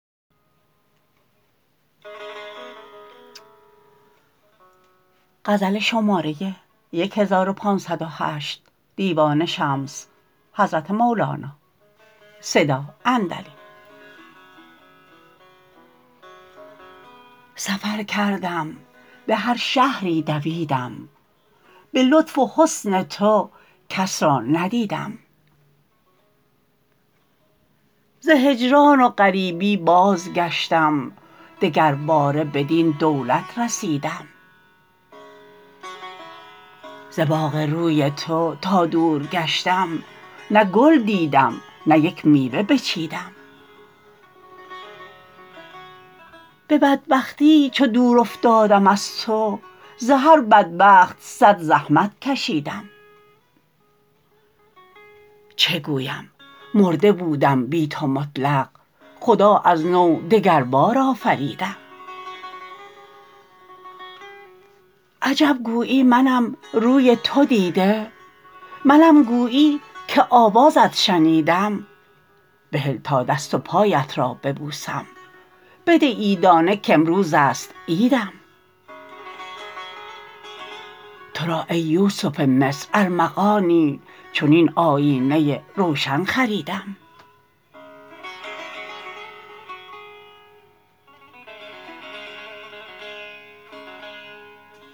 سفر کردم به هر شهری دویدم به لطف و حسن تو کس را ندیدم ز هجران و غریبی بازگشتم دگرباره بدین دولت رسیدم از باغ روی تو تا دور گشتم نه گل دیدم نه یک میوه بچیدم به بدبختی چو دور افتادم از تو ز هر بدبخت صد زحمت کشیدم چه گویم مرده بودم بی تو مطلق خدا از نو دگربار آفریدم عجب گویی منم روی تو دیده منم گویی که آوازت شنیدم بهل تا دست و پایت را ببوسم بده عیدانه کامروز است عیدم تو را ای یوسف مصر ارمغانی چنین آیینه روشن خریدم